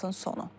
Statın sonu.